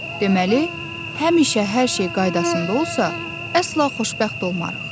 Deməli, həmişə hər şey qaydasında olsa, əsla xoşbəxt olmarıq.